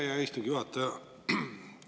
Aitäh, hea istungi juhataja!